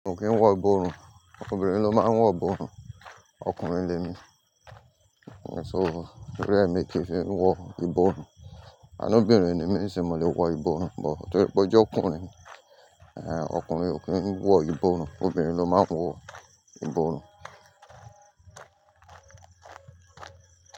Ọkùnrin ò kí ń wọ ìborùn, obìnrin ló máa ń wọ ìborùn, ọkùnrin ni èmi. So t'orí ẹ mi kí n fẹ́ wọ ìborùn? Kani obìnrin ni mí nisin mo lè wọ ìborùn, but torí pé ó jẹ́ ọkùnrin, ọkùnrin ò kí ń wọ ìborùn, obìnrin ló máa ń wọ ìborùn.